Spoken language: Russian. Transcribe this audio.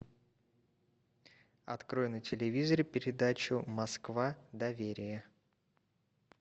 открой на телевизоре передачу москва доверие